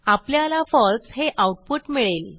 आपल्याला फळसे हे आऊटपुट मिळेल